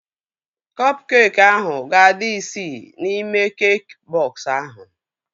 Kọp keekị ahụ ga-adị isii n'ime keekị bọks ahụ